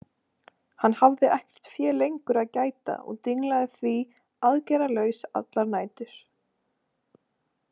Hann hafði ekkert fé lengur að gæta og dinglaði því aðgerðalaus allar nætur.